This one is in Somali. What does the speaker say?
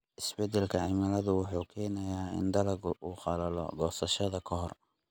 Isbeddelka cimiladu waxay keenaysaa in dalaggu uu qallalo goosashada ka hor.